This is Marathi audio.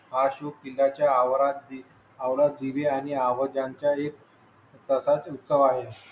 हा शो किल्ल्या च्या आवारात ची आवरा जीबी आणि आवाजांच्या एक. तसाच उत्सव आहे.